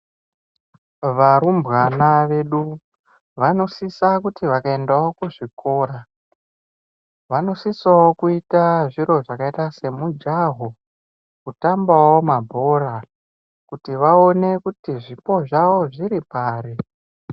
Varumbwana vedu vanosisa kuti vakaendeswawo kuzvikora vanosisawo kuite zviro zvakaita semujaho, kutambawo mabhora kuti vaone kuti zvipo zvawo zviri pari.